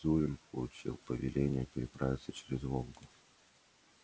зурин получил повеление переправиться через волгу